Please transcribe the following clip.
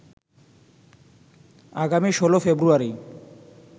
আগামী ১৬ ফেব্রুয়ারি